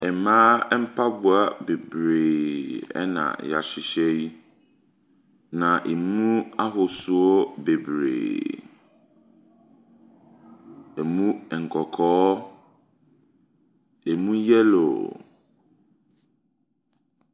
Mmaa mpaboa bebree ɛna yahyehyɛ yi, na emu ahosoɔ bebree. Emu nkɔkɔɔ, emu yellow.